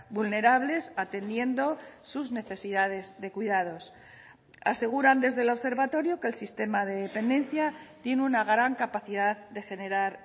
vulnerables atendiendo sus necesidades de cuidados aseguran desde el observatorio que el sistema de dependencia tiene una gran capacidad de generar